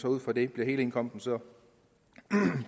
ud fra det bliver hele indkomsten så